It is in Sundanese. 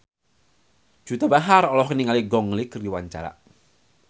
Juwita Bahar olohok ningali Gong Li keur diwawancara